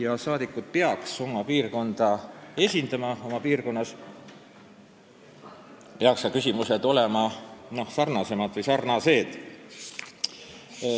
Valitud saadikud peaksid oma piirkonda esindama, piirkonnas peaksid tekkivad küsimused olema sarnasemad või sarnased.